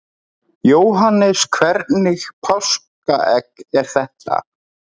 Jóhannes: Hvernig páskaegg er þetta?